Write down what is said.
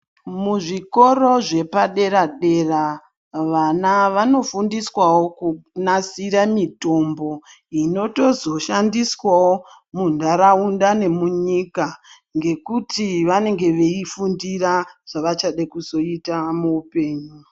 Muzvikoro zvepadera dera vana vanofundiswawo kunasira mitombo inotozoshandiswao munharaunda nemunyika ngekuti vanenge veifundira zvavachada kuzoita muupenyu